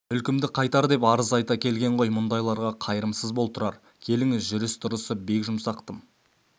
мүлкімді қайтар деп арыз айта келген ғой мұндайларға қайырымсыз бол тұрар келіңіз жүріс-тұрысы бек жұмсақ тым